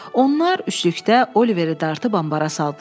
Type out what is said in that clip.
Onlar üçlükdə Oliveri dartıb ambara saldılar.